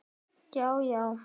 Allt þess vegna.